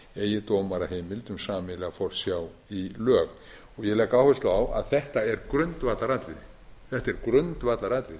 eigi dómaraheimild um sameiginlega forsjá í lög ég legg áherslu á að þetta er grundvallaratriði vegna þess að